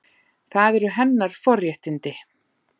Það eru hennar forréttindi.